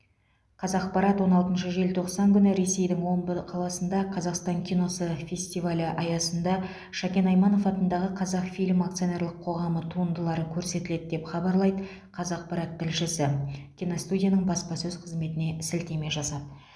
қазақпарат он алтыншы желтоқсан күні ресейдің омбыда қаласында қазақстан киносы фестивалі аясында шәкен айманов атындағы қазақфильм акционерлік қоғамы туындылары көрсетіледі деп хабарлайды қазақпарат тілшісі киностудияның баспасөз қызметіне сілтеме жасап